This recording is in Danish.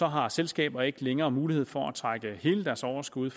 har selskaber ikke længere mulighed for at trække hele deres overskud